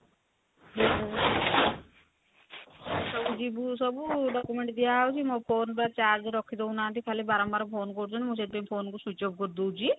ଆମେ ସବୁ ଯିବୁ ସବୁ document ଦିଆ ହଉଚି ମୋ phone ର charge ରଖିଦେଉନାହାନ୍ତି ଖାଲି ବାରମ୍ବାର phone କରୁଛନ୍ତି ମୁଁ ସେଥିପାଇଁ phone କୁ switch off କରି ଦଉଚି